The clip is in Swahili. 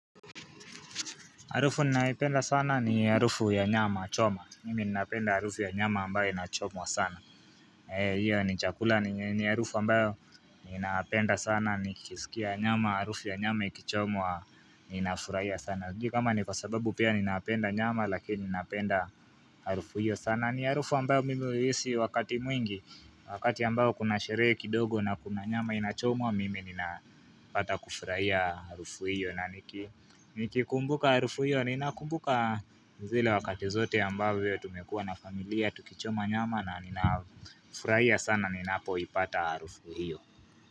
Harufu ninaipenda sana ni harufu ya nyama choma. Mimi ninaipenda harufu ya nyama ambayo inachomwa sana. Hiyo, ni chakula ni harufu ambayo ninapenda sana, nikisikia nyama, harufu ya nyama ikichomwa, ninafurahia sana. Kwa sababu pia ninaapenda nyama, lakini ninaapenda harufu hiyo sana. Ni harufu ambayo mimi huihisi wakati mwingi, wakati ambayo kuna sherehe kidogo na kuna nyama inachomwa, mimi ninapata kufurahia harufu hiyo. Na nikikumbuka harufu hiyo, ninakumbuka zile wakati zote ambayo Tumekuwa na familia, tukichoma nyama na ninafurahia sana ninapoipata harufu hiyo.